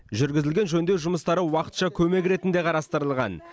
жүргізілген жөндеу жұмыстары уақытша көмек ретінде қарастырылған